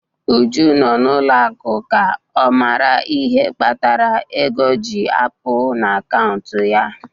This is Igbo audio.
Uju nọ n'ụlọ akụ ka ọ mara ihe kpatara ego ji apụ n'akaụntụ ya.